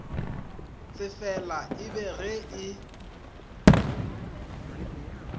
tsefela e be ge e